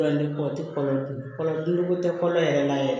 ni kɔ tɛ kɔlɔlɔ tɛ kɔlɔn yɛrɛ la yɛrɛ